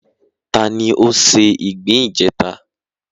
Ta ni ó se ìgbín ìjẹta?